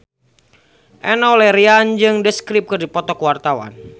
Enno Lerian jeung The Script keur dipoto ku wartawan